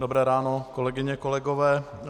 Dobré ráno, kolegyně, kolegové.